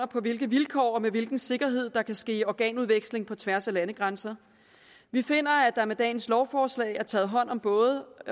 på hvilke vilkår og med hvilken sikkerhed der kan ske organudveksling på tværs af landegrænser vi finder at der med dagens lovforslag er taget hånd om både